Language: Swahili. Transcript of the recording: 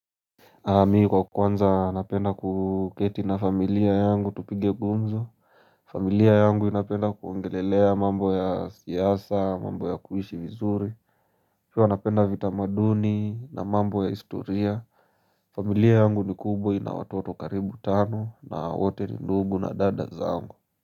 Mimi kwa kwanza napenda kuketi na familia yangu tupige gumzo familia yangu inapenda kuongelelea mambo ya siasa, mambo ya kuishi vizuri pia wa napenda vitamaduni na mambo ya historia familia yangu ni kubwa ina watoto karibu tano na wote ni ndugu na dada zangu.